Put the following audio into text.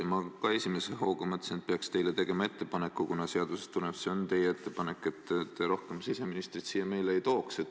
Ja ma ka esimese hooga mõtlesin, et peaks teile tegema ettepaneku – seadusest tuleneb, et tegu peab olema teie sooviga –, et te rohkem siseministrit siia kaasa ei võtaks.